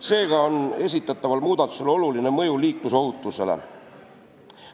Seega on esitataval muudatusel oluline mõju liiklusohutusele.